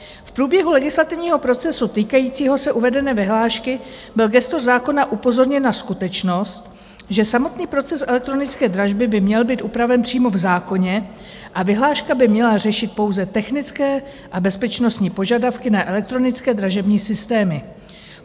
V průběhu legislativního procesu týkajícího se uvedené vyhlášky byl gestor zákona upozorněn na skutečnost, že samotný proces elektronické dražby by měl být upraven přímo v zákoně a vyhláška by měla řešit pouze technické a bezpečnostní požadavky na elektronické dražební systémy.